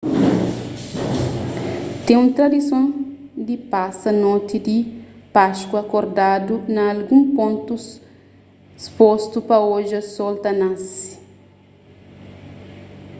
ten un tradison di pasa noti di páskua kordadu na algun pontu spostu pa odja sol ta nase